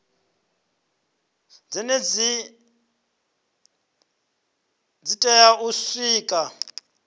zhenedzi li tea u sikwa